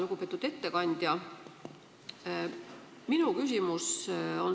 Lugupeetud ettekandja!